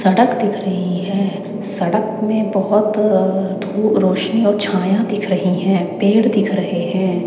सड़क दिख रही है सड़क में बहोत धूप रोशनी और छाया दिख रही हैं पेड़ दिख रहे हैं।